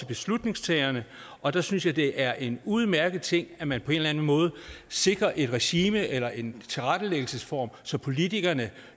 beslutningstagerne og der synes jeg det er en udmærket ting at man på en eller anden måde sikrer et regime eller en tilrettelæggelsesform så politikerne